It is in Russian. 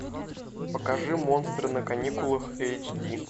покажи монстры на каникулах эйч ди